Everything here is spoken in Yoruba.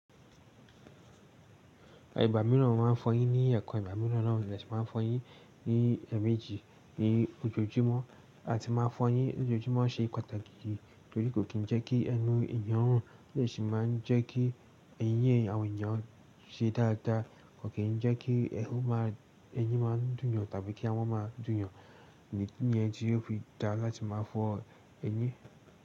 Igbà mìíràn mo máa ń fọyín ní ẹ̀kan. Igbà mìíràn naa mo de si máa n fọyín ní ẹ̀ẹ̀mejì ní ojoojúmọ́, à ti n máa fọyín lójoojúmọ́ ṣe pàtàkì torí kò kì n jẹ́ kí ẹnu èèyàn run, o de si máa jẹ́ kí ẹ̀yín eeyan àwọn èèyàn ṣe dáadáa, kò kì in jẹ́ kí ẹnù máa, ẹyín máa dùn yàn tàbí kí àwọn máa dùn yàn. Ìdì niyen tí ò fi dáa láti máa fọ ẹyín.